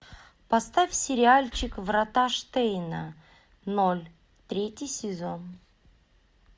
поставь сериальчик врата штейна ноль третий сезон